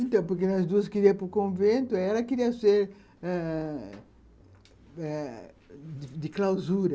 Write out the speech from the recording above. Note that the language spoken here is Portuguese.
Então, porque as duas queriam ir para o convento, e ela queria ser ãh...ãh... de clausura.